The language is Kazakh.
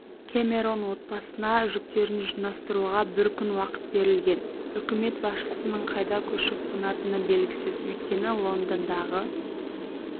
кэмерон отбасына жүктерін жинастыруға бір күн уақыт берілген үкімет басшысының қайда көшіп қонатыны белгісіз өйткені лондондағы